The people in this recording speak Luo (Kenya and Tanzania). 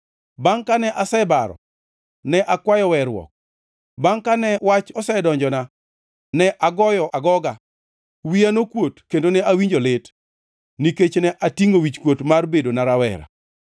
Bangʼ kane asebaro, ne akwayo weruok; bangʼ kane wach osedonjona, ne agoyo agoga. Wiya nokuot kendo ne awinjo lit, nikech ne atingʼo wichkuot mar bedona rawera.